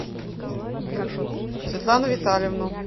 светлану витальевну